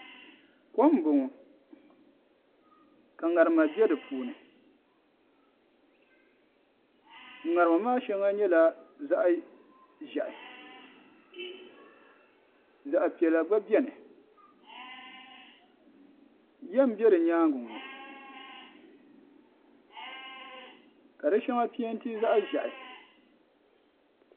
Kom n bɔŋɔ ka ŋarima bɛ di puuni ŋarima maa shɛŋa yɛla zaɣi zɛhi zaɣi piɛlla gba bɛni yiya n bɛ di yɛanga ŋɔ ka di shɛŋa pɛnti zaɣi ʒehi.